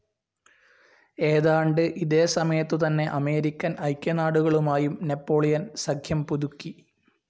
ഏതാണ്ട് ഇതേ സമയത്തുതന്നെ അമേരിക്കൻ ഐക്യനാടുകളുമായും നാപ്പോളിയൻ സഖ്യം പുതുക്കി.